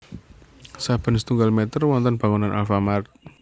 Saben setunggal meter wonten bangunan Alfamart